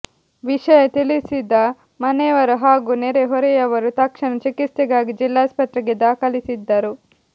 ವಿಷಯ ತಿಳಿಸಿದ ಮನೆಯವರು ಹಾಗೂ ನೆರೆ ಹೊರೆಯವರು ತಕ್ಷಣ ಚಿಕಿತ್ಸೆಗಾಗಿ ಜಿಲ್ಲಾಸ್ಪತ್ರೆಗೆ ದಾಖಲಿಸಿದ್ದರು